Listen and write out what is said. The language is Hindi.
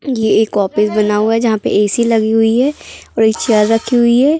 ये एक ऑफिस बना हुआ है जहाँ पे ए_सी लगी हुई है और एक चेयर रखी हुई है।